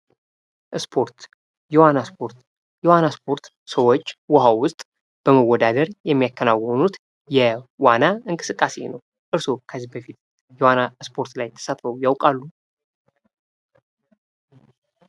ስፖርት የዋና ስፖርት የዋና ስፖርት ሰዎች ውሃ ውስጥ በመወዳደር የሚያከናውኑት የዋና እንቅስቃሴ ነው። እርስዎ ከዚህ በፊት በዋና ስፖርት ላይ ተሳትፈው ያውቃሉ።